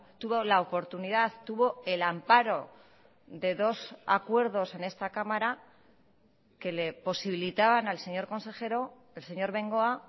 tuvo la oportunidad tuvo el amparo de dos acuerdos en esta cámara que le posibilitaban al señor consejero el señor bengoa